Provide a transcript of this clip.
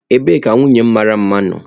Ebee ka nwunye m mara mma nọ?